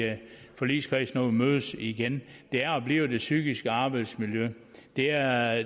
forligskredsen når mødes igen er og bliver det psykiske arbejdsmiljø det er